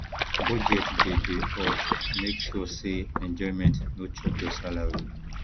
budget dey dey help make sure say enjoyment no chop your salary